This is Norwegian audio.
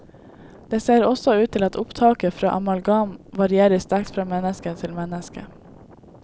Det ser også ut til at opptaket fra amalgam varierer sterkt fra menneske til menneske.